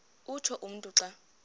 utsho umntu xa